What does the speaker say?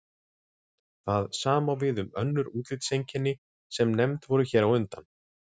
Það sama á við um önnur útlitseinkenni sem nefnd voru hér á undan.